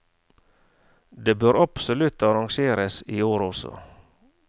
Det bør absolutt arrangeres i år også.